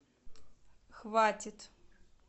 хватит